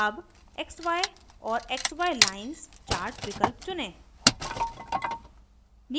अब xy और xy lines chart विकल्प चुनें